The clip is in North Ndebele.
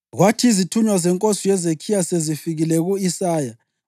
Kwathi izithunywa zenkosi uHezekhiya sezifikile ku-Isaya,